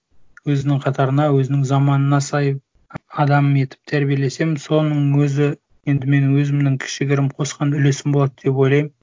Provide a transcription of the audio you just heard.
өзінің қатарына өзінің заманына сай адам етіп тәрбиелесем соның өзі енді менің өзімнің кішігірім қосқан үлесім болады деп ойлаймын